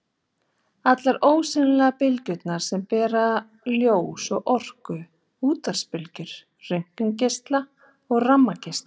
Og allar ósýnilegu bylgjurnar sem bera ljós og orku: útvarpsbylgjur, röntgengeisla, gammageisla.